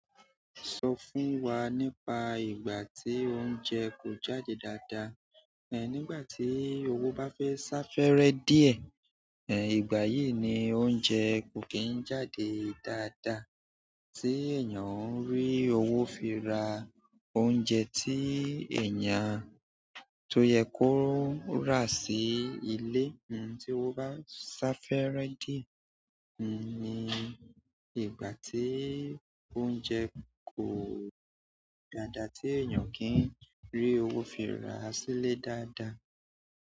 Sọ fún wa nípa ìgbà tí oúnjẹ kò jáde dáadáa. Ẹ̀ nígbà tí owó bá fẹ́ sá fẹ́rẹ́ díẹ̀, ẹ̀n ìgbà yìí ni oúnjẹ kò kí ń jáde dáadáa. Tí èèyàn ń rí owó fi ra oúnjẹ tí èèyàn tó yẹ kó rà sí ilé, hun, tí owó bá sá fẹ́rẹ́ díẹ̀, hun ní ìgbà tí oúnjẹ kò dáadáa tí èèyàn kí ń rí owó fi ra sí ilé dáadáa.